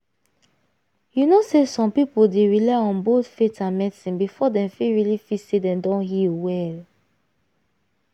you know say some people dey rely on both faith and medicine before dem fit really feel say dem don heal well.